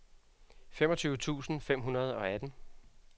femogtyve tusind fem hundrede og atten